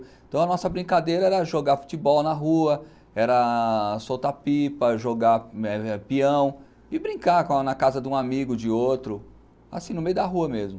Então a nossa brincadeira era jogar futebol na rua, era soltar pipa, jogar pião e brincar na casa de um amigo, de outro, assim, no meio da rua mesmo.